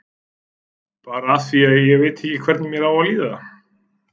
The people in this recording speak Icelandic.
Bara af því að ég veit ekki hvernig mér á að líða.